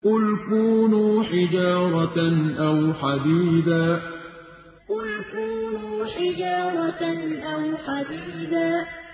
۞ قُلْ كُونُوا حِجَارَةً أَوْ حَدِيدًا ۞ قُلْ كُونُوا حِجَارَةً أَوْ حَدِيدًا